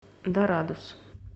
дорадус